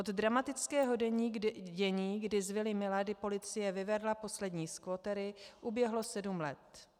Od dramatického dění, kdy z vily Milady policie vyvedla poslední squattery, uběhlo sedm let.